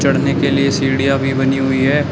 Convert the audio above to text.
चढ़ने के लिए सीढ़ियां भी बनी हुई हैं।